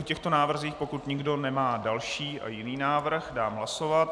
O těchto návrzích, pokud nikdo nemá další a jiný návrh, dám hlasovat.